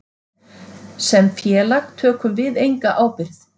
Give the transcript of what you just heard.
Sem félag tökum við enga ábyrgð.